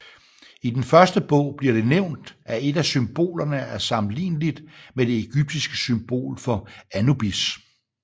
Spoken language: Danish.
I den første bog bliver det nævnt at et af symbolerne er sammenlignelidt med det egyptiske symbol for Anubis